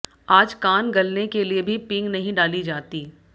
आज कान गलने के लिए भी पींग नहीं डाली जाती